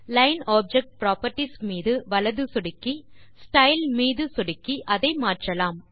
line object properties மீது வலது சொடுக்கி ஸ்டைல் மீது சொடுக்கி அதை மாற்றலாம்